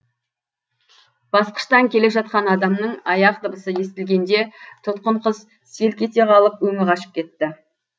басқыштан келе жатқан адамның аяқ дыбысы естілгенде тұтқын қыз селк ете қалып өңі қашып кетті